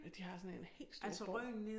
De har sådan en helt stor borg